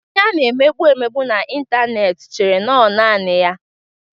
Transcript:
Onye a na-emegbu mmadụ na ịntanetị chere na ọ nọ naanị ya.